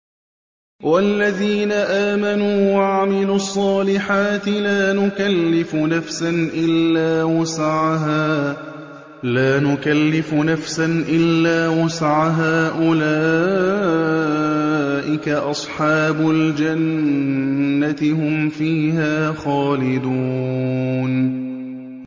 وَالَّذِينَ آمَنُوا وَعَمِلُوا الصَّالِحَاتِ لَا نُكَلِّفُ نَفْسًا إِلَّا وُسْعَهَا أُولَٰئِكَ أَصْحَابُ الْجَنَّةِ ۖ هُمْ فِيهَا خَالِدُونَ